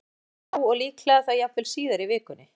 Jóhann: Já, og líklega þá jafnvel síðar í vikunni?